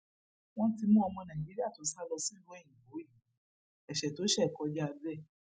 wọn ti mú ọmọ nàìjíríà tó sá lọ sílùú òyìnbó yìí ẹsẹ tó ṣe kọjá bẹẹ